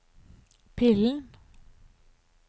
pillen